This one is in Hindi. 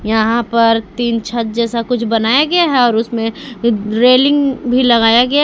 यहां पर टीन छत जैसा कुछ बनाया गया है और उसमें रेलिंग भी लगाया गया--